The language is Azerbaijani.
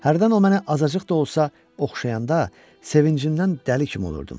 Hərdən o mənə azacıq da olsa oxşayanda sevincimdən dəli kimi olurdum.